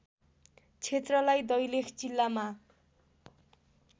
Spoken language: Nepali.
क्षेत्रलाई दैलेख जिल्लामा